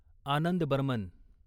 Anand Burman